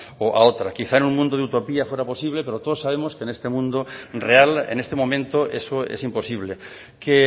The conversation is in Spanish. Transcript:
o a otra quizás en un mundo de utopía fuera posible pero todos sabemos que en este mundo real en este momento eso es imposible que